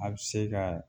A bɛ se ka